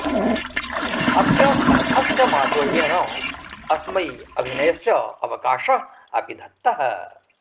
अस्य कण्ठस्य माधुर्येण अस्मै अभिनयस्य अवकाशः अपि दत्तः